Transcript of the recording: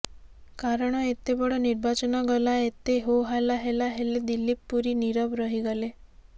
କାରଣ ଏତେ ବଡ ନିର୍ବାଚନ ଗଲା ଏତେ ହୋ ହାଲ୍ଲା ହେଲା ହେଲେ ଦିଲ୍ଲୀପ ପୁରୀ ନିରବ ରହିଗଲେ